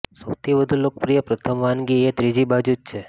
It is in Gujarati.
સૌથી વધુ લોકપ્રિય પ્રથમ વાનગી એ ત્રીજી બાજુ છે